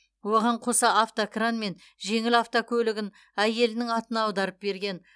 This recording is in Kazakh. оған қоса автокран мен жеңіл автокөлігін әйелінің атына аударып берген